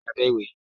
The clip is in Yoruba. Ó wà ní abẹ́ ìwé.